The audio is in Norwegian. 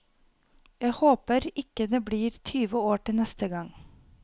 Jeg håper ikke det blir tyve år til neste gang.